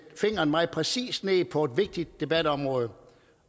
fingeren meget præcist ned på et vigtigt debatområde